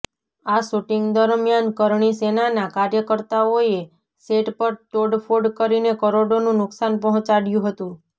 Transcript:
આ શૂટિંગ દરમિયાન કરણી સેનાના કાર્યકર્તાઓએ સેટ પર તોડફોડ કરીને કરોડોનું નુકસાન પહોંચાડ્યું હતુ